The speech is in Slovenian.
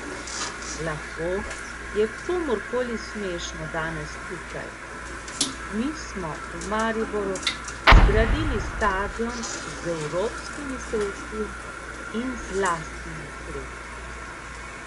Lahko je komur koli smešno danes tukaj, mi smo v Mariboru zgradili stadion z evropskimi sredstvi in z lastnimi sredstvi.